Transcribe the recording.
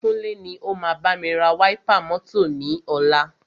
Kúnlé ni o máa bámi ra wáípà mọ́tọ̀ ni ọ̀la.